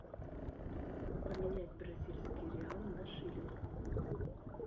поменять бразильские реалы на шиллинг